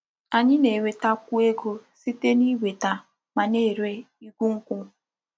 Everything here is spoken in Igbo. Anyi na-enweta kwu ego site n'iweta ma na-ere igu nkwu.